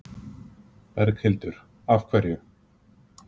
Berghildur: Af hverju?